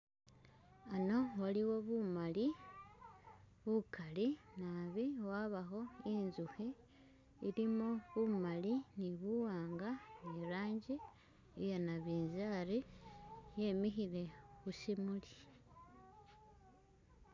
Wano waliwo bumali bukali nabi wabakho intsukhi ilimo bumali ni buwanga ni ranji iya nabinzali yemikhile khushimuli .